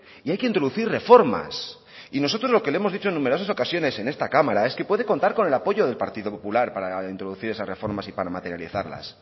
y hay que introducir reformas y nosotros lo que le hemos dicho en numerosas ocasiones en esta cámara es que puede contar con el apoyo del partido popular para introducir esas reformas y para materializarlas